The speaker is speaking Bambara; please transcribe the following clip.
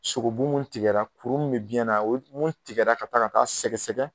Sogobu mun tigɛ la kuru munnu be biɲɛ na ,mun tigɛ la ka taa ka taa sɛgɛsɛgɛ.